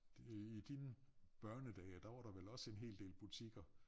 Det i dine børnedage der var der vel også en hel del butikker